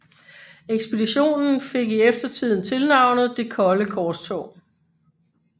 Ekspeditionen fik i eftertiden tilnavnet Det kolde korstog